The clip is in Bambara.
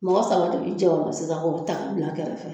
Mɔgɔ saba de bi jɛ o la sisan k'o ta ka bila kɛrɛfɛ